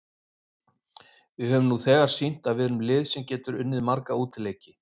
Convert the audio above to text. Við höfum nú þegar sýnt að við erum lið sem getur unnið marga útileiki.